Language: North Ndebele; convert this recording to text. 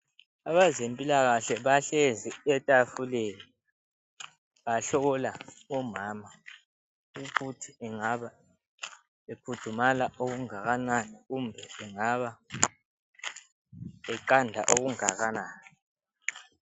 Abezempilakahle bahlezi etafuleni bahlola umama ukuthi engaba ekhudumala okungakanani kumbe engaba eqanda okungakanani.